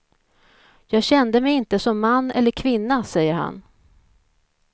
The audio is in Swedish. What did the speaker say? Jag kände mig inte som man eller kvinna, säger han.